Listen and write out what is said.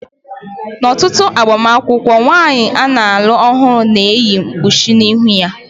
N'ọtụtụ agbamakwụkwọ, nwanyị a na-alụ ọhụrụ ga-eyi mkpuchi n'ihu ya.